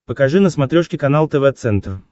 покажи на смотрешке канал тв центр